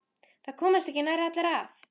Það komast ekki nærri allir að.